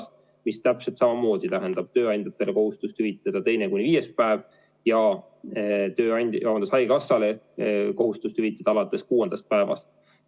See tähendab täpselt samamoodi tööandjatele kohustust hüvitada teine kuni viies päev ja haigekassale kohustust hüvitada alates kuuendast päevast.